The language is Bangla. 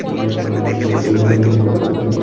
বা কোনো একতি উদ্যান হতে পারে।